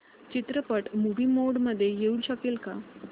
चित्रपट movie mode मध्ये येऊ शकेल का